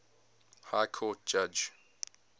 high court judge